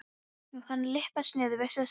og hann lyppast niður, virðist hálfrotaður.